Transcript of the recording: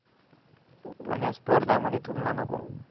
पण या स्पर्धामध्ये तुलना नको.